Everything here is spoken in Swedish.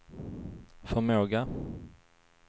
förmåga